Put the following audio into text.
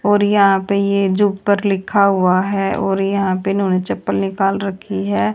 और यहां पे ये जो ऊपर जो लिखा हुआ है और यहां पे इन्होने चप्पल निकाल रखी है।